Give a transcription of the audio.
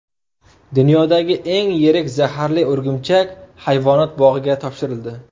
Dunyodagi eng yirik zaharli o‘rgimchak hayvonot bog‘iga topshirildi.